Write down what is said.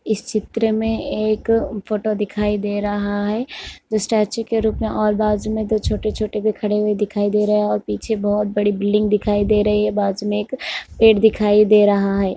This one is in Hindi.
इस चित्र मे एक फोटो दिखाई दे रहा है उस स्टैचू के रूप मे और बाजू में दो छोटे-छोटे खड़े हुए भी दिखाई दे रहे हैं और पीछे बहुत बड़ी बिल्डिंग दिखाई दे रही है और बाजू में एक पेड़ दिखाई दे रहा है।